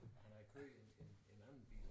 Han havde kørt en en en anden bil